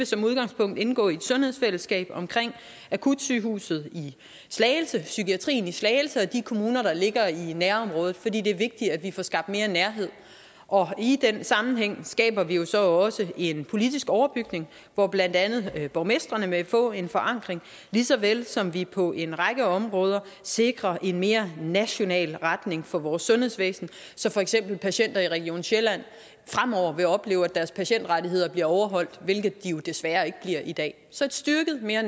som udgangspunkt vil indgå i et sundhedsfællesskab omkring akutsygehuset i slagelse og psykiatrien i slagelse og de kommuner der ligger i nærområdet for det det er vigtigt at vi får skabt mere nærhed og i den sammenhæng skaber vi jo så også en politisk overbygning hvor blandt andet borgmestrene vil få en forankring lige så vel som vi på en række områder sikrer en mere national retning for vores sundhedsvæsen så for eksempel patienter i region sjælland fremover vil opleve at deres patientrettigheder bliver overholdt hvilket de jo desværre ikke bliver i dag så et styrket mere